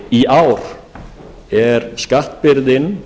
í ár er skattbyrðin